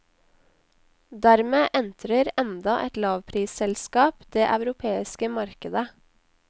Dermed entrer enda et lavprisselskap det europeiske markedet.